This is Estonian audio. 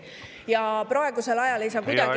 Ja praegusel ajal ei saa kuidagi …